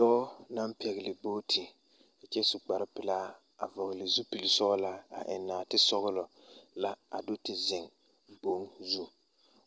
Dɔɔ naŋ pɛgle bogti kyɛ su kparepelaa a vɔgle zupilisɔglaa a eŋ nɔɔtesɔglɔ la a do te zeŋ boŋ zu